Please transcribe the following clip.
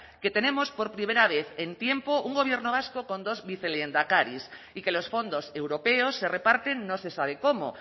que tenemos por primera vez en tiempo un gobierno vasco con dos vicelehendakaris y que los fondos europeos se reparten no se sabe cómo